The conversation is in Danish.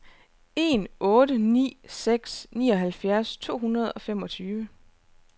en otte ni seks nioghalvtreds to hundrede og femogtyve